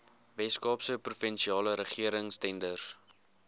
weskaapse provinsiale regeringstenders